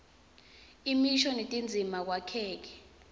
imisho netindzima kwakheke